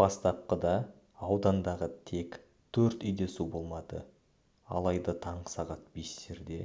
бастапқыда аудандағы тек төрт үйде су болмады алайда таңғы сағат бестерде